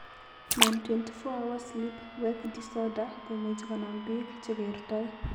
Non 24 hour sleep wake disorder komuche konam pik chekertoi.